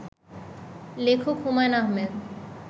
লেখক হুমায়ূন আহমেদ